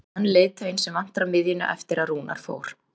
Er hann leiðtoginn sem vantar á miðjuna eftir að Rúnar fór?